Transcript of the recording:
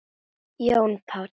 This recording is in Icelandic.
Jón Páll.